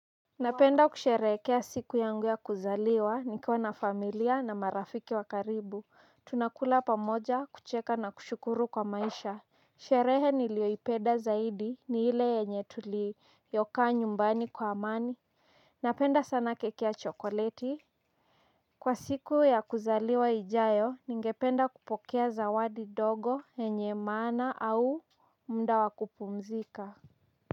Napenda kusherehekea siku yangu ya kuzaliwa nikiwa na familia na marafiki wa karibu, tunakula pamoja, kucheka na kushukuru kwa maisha. Sherehe niliyoipenda zaidi ni ile yenye tulikaa nyumbani kwa amani. Napenda sana keki ya chokoleti. Kwa siku ya kuzaliwa ijayo ningependa kupokea zawadi ndogo yenye maana au muda wa kupumzika.